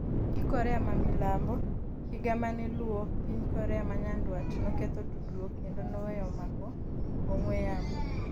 gi Korea ma mamilambo. Higa mane luwo, piny Korea ma Nyanduat noketho tudruok kendo noweyo mako ong'we yamo